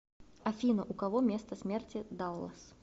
афина у кого место смерти даллас